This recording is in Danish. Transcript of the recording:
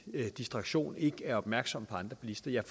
distraktion ikke er opmærksomme på andre bilister ja